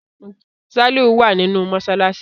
Saliu wá ní inú masalasi.